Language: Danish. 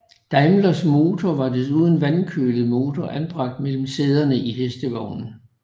Daimlers motor var desuden vandkølet motor anbragt mellem sæderne i hestevognen